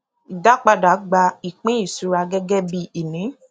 ìdápadà gba ìpín ìṣura gẹgẹ bí ìní